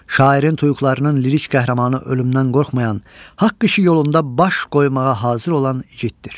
Şairin tuyuğlarının lirik qəhrəmanı ölümdən qorxmayan, haqq işi yolunda baş qoymağa hazır olan igiddir.